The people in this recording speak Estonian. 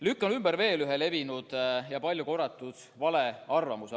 Lükkan ümber ühe levinud ja palju korratud valearvamuse.